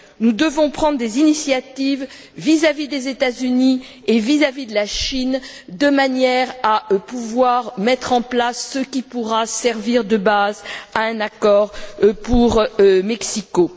Nous devons prendre des initiatives vis à vis des États Unis et vis à vis de la Chine, de manière à pouvoir mettre en place ce qui pourra servir de base à un accord pour Mexico.